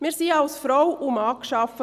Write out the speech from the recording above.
Wir wurden als Frau und Mann geschaffen.